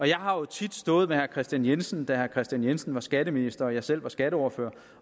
jeg har jo tit stået med herre kristian jensen da herre kristian jensen var skatteminister og jeg selv var skatteordfører